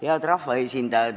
Head rahvaesindajad!